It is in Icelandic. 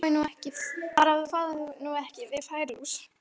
Bara að þú fáir nú ekki á þig færilús!